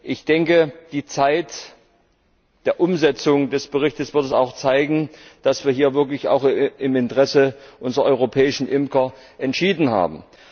Ich denke, die Zeit der Umsetzung des Berichts wird zeigen, dass wir hier wirklich im Interesse unserer europäischen Imker entschieden haben.